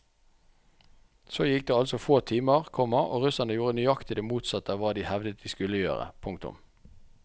Så gikk det altså få timer, komma og russerne gjorde nøyaktig det motsatte av hva de hevdet de skulle gjøre. punktum